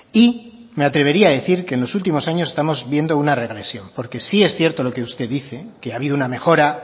y me atrevería a decir que en los últimos años estamos viendo una regresión porque sí es cierto lo que usted dice que ha habido una mejora